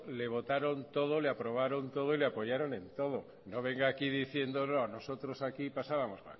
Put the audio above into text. le votaron todo le aprobaron todo y le apoyaron en todo no venga aquí diciendo no nosotros aquí pasábamos